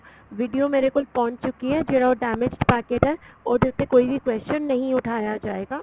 video ਮੇਰੇ ਕੋਲ ਪਹੁੰਚ ਚੁੱਕੀ ਏ ਜਿਹੜਾ ਉਹ damage packet ਆ ਉਹਦੇ ਉੱਤੇ ਕੋਈ ਵੀ question ਨਹੀਂ ਉਠਾਇਆ ਜਾਏਗਾ